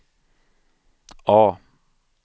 A